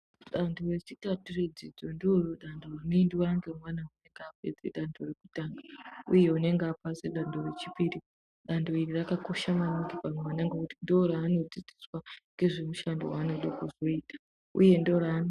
Danho rechitatu redzidzo ndoodanho rinoendiwa ngemwana mudiki apedze danho rekutanga uye unenge apasa kudanho rechipiri. Danho iri rakakosha maningi pamwana ngekuti ndooraanodzidziswa ngezvemushando waanoda kuzoita.